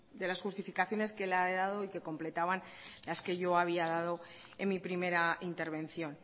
de las justificaciones que él ha dado y completaban las que yo había dado en mi primera intervención